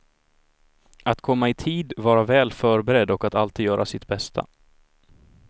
Att komma i tid, vara väl förberedd och att alltid göra sitt bästa.